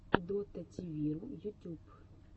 дотативиру ютюб